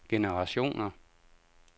generationer